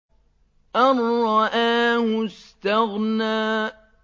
أَن رَّآهُ اسْتَغْنَىٰ